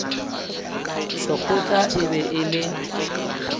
sekgotla e be e le